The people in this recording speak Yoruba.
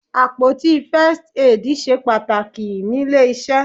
Àpótí First Aid ṣe pàtàkì níle iṣẹ́.